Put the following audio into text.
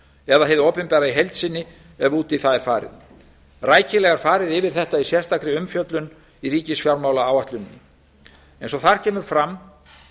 eða hið opinbera í heild sinni ef út í það er farið rækilega er farið yfir þetta í sérstakri umfjöllun í ríkisfjármálaáætluninni eins og þar kemur fram